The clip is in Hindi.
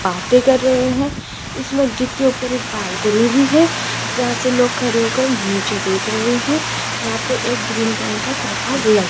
बाते कर रहे हैं इस मस्जिद के ऊपर एक बालकनी भी है जहां से लोग खड़े होकर नीचे देख रहे हैं यहां पे एक ग्रीन कलर का त्रिपाल लग --